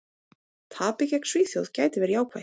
Tapið gegn Svíþjóð gæti verið jákvætt.